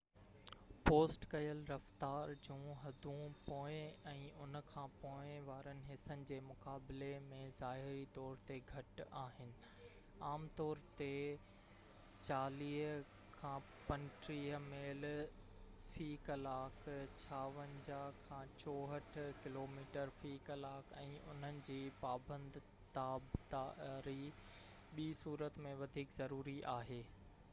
post ڪيل رفتار جون حدون پوئين ۽ ان کان پوءِ وارن حصن جي مقابلي ۾ ظاهري طور تي گهٽ آهن — عام طور تي 35-40 ميل في ڪلاڪ 56-64 ڪلوميٽر في ڪلاڪ —۽ انهن جي پابند تابعداري ٻي صورت ۾ وڌيڪ ضروري آهي